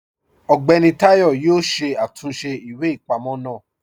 Ọgbẹni Tayọ̀ yọ̀ọ́ ṣé àtúnṣe ìwé-ipamọ̀ náà